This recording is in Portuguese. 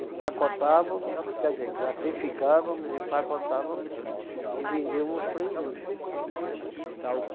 Empacotávamos, quer dizer, classificávamos, empacotávamos e vendíamos para a indústria.